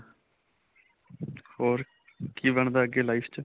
ਹੋਰ ਕੀ ਬਣਦਾ ਅੱਗੇ life ਚ